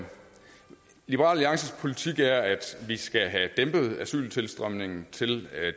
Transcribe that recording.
liberal alliances politik er at vi skal have dæmpet asyltilstrømningen til